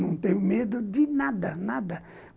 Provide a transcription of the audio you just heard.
Não tenho medo de nada, nada.